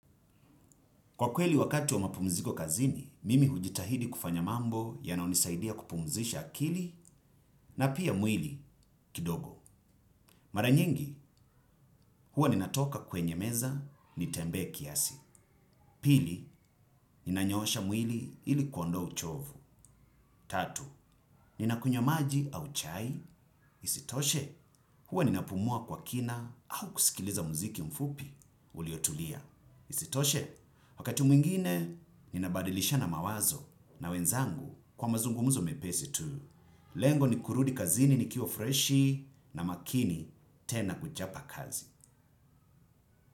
Kwa kweli wakati wa mapumziko kazini, mimi hujitahidi kufanya mambo ya nayo nisaidia kupumzisha akili na pia mwili kidogo. Maranyingi, huwa ninatoka kwenye meza ni tembe kiasi. Pili, ninanyoosha mwili ili kuondoa uchovu. Tatu, ninakunywa maji au chai. Isitoshe, huwa ninapumua kwa kina au kusikiliza muziki mfupi uliotulia. Isitoshe, wakati mwingine ni nabadilishana mawazo na wenzangu kwa mazungumuzo mepesi tu. Lengo ni kurudi kazini nikiwa freshi na makini tena kuchapa kazi.